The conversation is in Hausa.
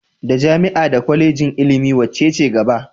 Da jami'a da Kwalejin ilimi wacce ce gaba?